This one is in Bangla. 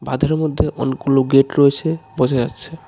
আধারের মধ্যে অনেকগুলো গেট রয়েছে বোঝা যাচ্ছে।